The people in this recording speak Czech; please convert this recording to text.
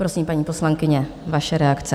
Prosím, paní poslankyně, vaše reakce.